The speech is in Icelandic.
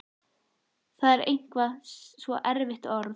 Það er eitthvað svo erfitt orð.